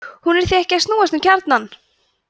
hún er því ekki að snúast um kjarnann!